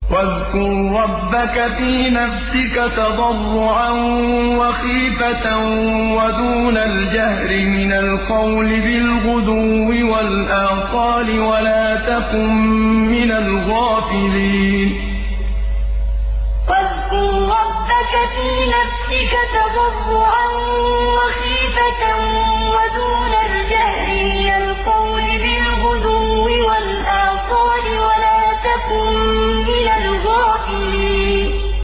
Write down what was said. وَاذْكُر رَّبَّكَ فِي نَفْسِكَ تَضَرُّعًا وَخِيفَةً وَدُونَ الْجَهْرِ مِنَ الْقَوْلِ بِالْغُدُوِّ وَالْآصَالِ وَلَا تَكُن مِّنَ الْغَافِلِينَ وَاذْكُر رَّبَّكَ فِي نَفْسِكَ تَضَرُّعًا وَخِيفَةً وَدُونَ الْجَهْرِ مِنَ الْقَوْلِ بِالْغُدُوِّ وَالْآصَالِ وَلَا تَكُن مِّنَ الْغَافِلِينَ